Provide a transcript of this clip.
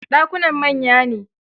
Dakunan manya ne.